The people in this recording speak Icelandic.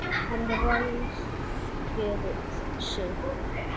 Hann ræskir sig.